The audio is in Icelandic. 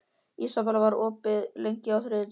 Ísabel, hvað er opið lengi á þriðjudaginn?